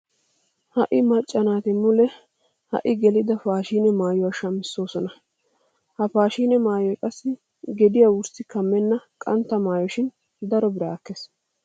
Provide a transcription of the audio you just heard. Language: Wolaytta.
Ha"i macca naati mule ha"i gelida paashiine maayuwa shamissoosona. Ha paashiine maayoy qassi gediya wurssi kammenna qantta maayo shin daro biraa ekkees.